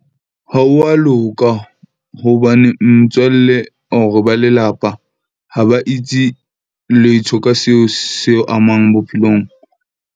Ha wa loka hobane motswalle or ba lelapa, ha ba itse letho ka seo seo amang bophelong.